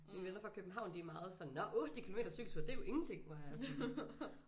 Mine venner fra København de er meget sådan nåh 8 kilometer cykeltur det er jo ingenting hvor jeg er sådan